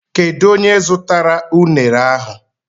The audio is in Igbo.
Kedu onye zụtara unere ahụ?